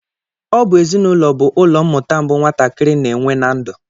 Ọ bụ ezinụlọ bụ ụlọmmụta mbụ nwatakịrị na-enwe na ndu